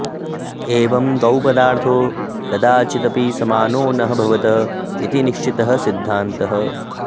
एवम् द्वौ पदार्थौ कदाचिदपि समानौ न भवतः इति निश्चितः सिद्धान्तः